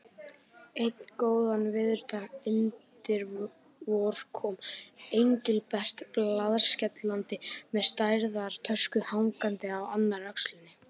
Einn góðan veðurdag undir vor kom Engilbert blaðskellandi með stærðar tösku hangandi á annarri öxlinni.